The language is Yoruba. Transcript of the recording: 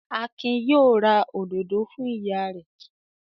Akin yóò ra òdòdó fún ìyá rẹ̀.